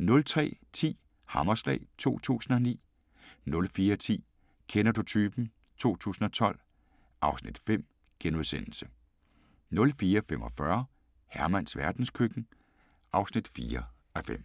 03:10: Hammerslag 2009 * 04:10: Kender du typen? 2012 (Afs. 5)* 04:45: Hermans verdenskøkken (4:5)